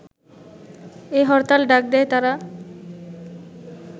এ হরতাল ডাক দেয় তারা